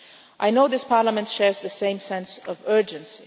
I know this Parliament shares the same sense of urgency.